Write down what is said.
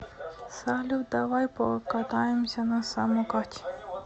салют давай покатаемся на самокате